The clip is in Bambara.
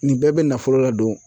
Nin bɛɛ bɛ nafolo ladon